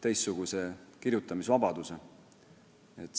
teistsuguse kirjutamisvabaduse.